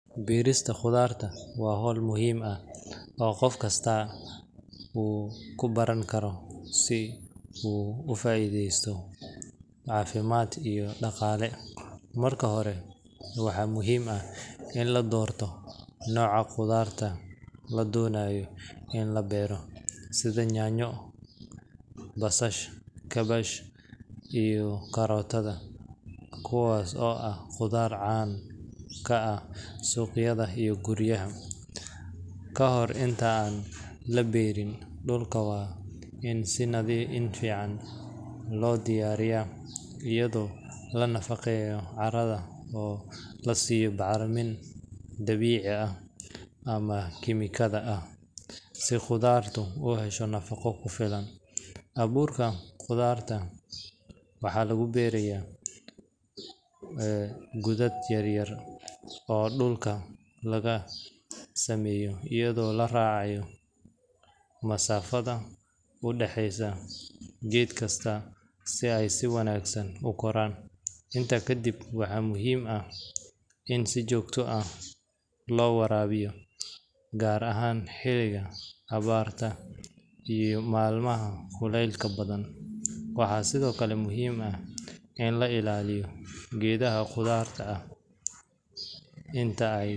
Beerista khudaarta waa hawl muhiim ah oo qof kasta uu ku baran karo si uu uga faa’iidaysto caafimaad iyo dhaqaale. Marka hore, waxaa muhiim ah in la doorto nooca khudaarta la doonayo in la beero, sida yaanyo, basasha, kaabash, iyo karootada, kuwaas oo ah khudaar caan ka ah suuqyada iyo guryaha. Ka hor inta aan la beerin, dhulka waa in si fiican loo diyaariyaa, iyadoo la nafaqeeyo carrada oo la siiyo bacriminta dabiiciga ah ama kiimikada ah, si khudaartu u hesho nafaqo ku filan. Abuurka khudaarta waxaa lagu beerayaa godad yaryar oo dhulka laga sameeyo, iyadoo la raacayo masaafada u dhexeysa geed kasta si ay si wanaagsan u koraan. Intaa kadib, waxaa muhiim ah in si joogto ah loo waraabiyo, gaar ahaan xilliga abaarta iyo maalmaha kulaylaha badan. Waxaa sidoo kale muhiim ah in la ilaaliyo geedaha khudaarta ah inta ay koraan.